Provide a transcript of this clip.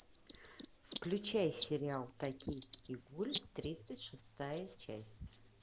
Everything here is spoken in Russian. включай сериал токийский гуль тридцать шестая часть